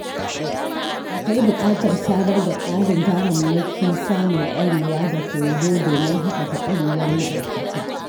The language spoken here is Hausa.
Akwai buƙatar samar da ƙarin damammakin samun ƙwarewa da horo, domin haɓaka ƙwarewar ma’aikata.